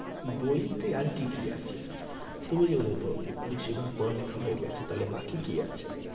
বইতে আর কি কি আছে? তুমি যে বেশির ভাগ পড়ালেখা হয়ে গেছে। তাহলে বাকি আছে?